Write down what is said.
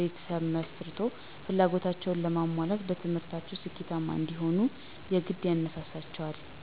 ቤተሰብ መስርቶ ፍላጎታቸዉን ለማሟላት በትምህርታቸዉ ስኬታማ እንዲሆኑም የግድ ያነሳሳቸዋል።